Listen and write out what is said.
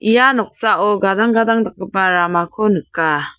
ia noksao gadang gadang dakgipa ramako nika.